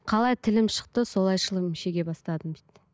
қалай тілім шықты солай шылым шеге бастадым дейді